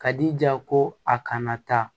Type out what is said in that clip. Ka di ja ko a kana taa